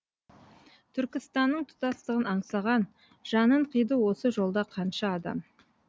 түркістанның тұтастығын аңсаған жанын қиды осы жолда қанша адам